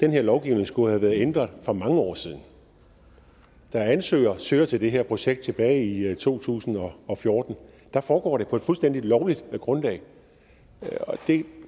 her lovgivning skulle have været ændret for mange år siden da ansøger søger til det her projekt tilbage i to tusind og fjorten foregår det på et fuldstændig lovligt grundlag